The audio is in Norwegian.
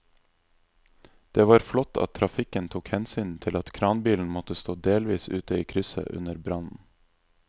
Det var flott at trafikken tok hensyn til at kranbilen måtte stå delvis ute i krysset under brannen.